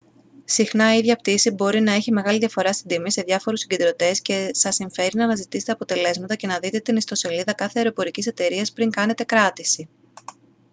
συχνά η ίδια πτήση μπορεί να έχει μεγάλη διαφορά στην τιμή σε διάφορους συγκεντρωτές και σας συμφέρει να αναζητήσετε αποτελέσματα και να δείτε την ιστοσελίδα κάθε αεροπορικής εταιρείας πριν κάνετε κράτηση